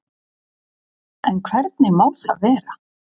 En hvernig má það vera?